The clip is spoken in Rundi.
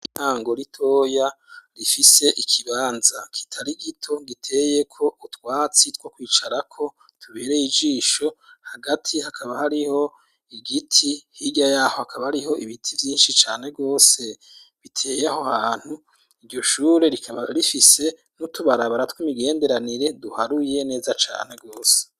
Ishure ryintango ritoya rifise ikibanza kitari gito giteyeko utwatsi two kwicarako tubereye ijisho hagati hakaba hariho igiti, hirya yaho hakaba ariho ibiti vyinshi cane gose biteye aho hantu iryo shure rikaba rifise n'utubarabara tw'imigenderanire duharuye neza cane gose.